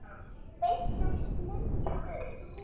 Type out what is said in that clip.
Beint úr smiðju Guðs.